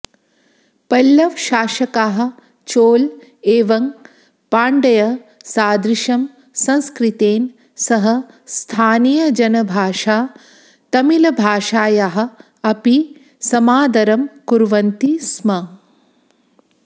पल्लवशासकाः चोल एवं पाण्ड्य सादृशं संस्कृतेन सह स्थानीयजनभाषा तमिळभाषायाः अपि समादरं कुर्वन्ति स्म